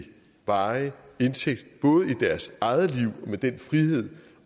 varig indtægt både i deres eget liv med den frihed